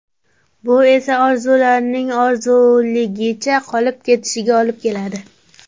Bu esa orzularning orzuligicha qolib ketishiga olib keladi.